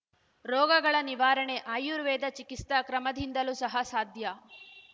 ರೋಗಗಳ ನಿವಾರಣೆ ಆರ್ಯುವೇದ ಚಿಕಿಸ್ತಾ ಕ್ರಮದಿಂದಲೂ ಸಹ ಸಾಧ್ಯ